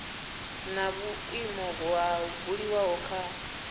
na vhuimo ho buliwaho kha